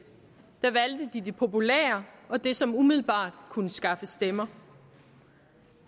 der valgte de det populære og det som umiddelbart kunne skaffe stemmer